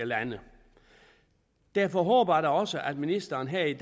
lande derfor håber jeg da også at ministeren her i